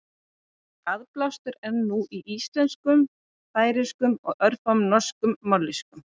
Aðblástur er nú í íslensku, færeysku og örfáum norskum mállýskum.